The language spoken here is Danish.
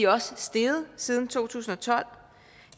også steget siden to tusind og tolv